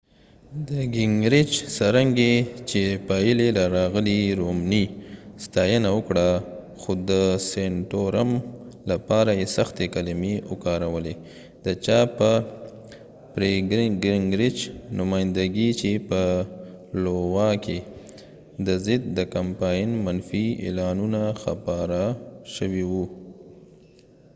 څرنګه چې پایلې راغلې gingrich د santorum ستاینه وکړه خو د romney لپاره یې سختې کلمې وکارولې د چا په نمایندګۍ چې په لووا کې د gingrich پر ضد د کمپاین منفي اعلانونه خپاره شوي و